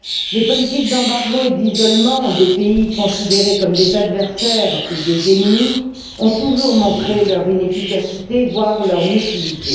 Les politiques d'embargo et d'isolement des pays considérés comme des adversaires ou des ennemis ont toujours montré leur inefficacité, voire leur nocivité.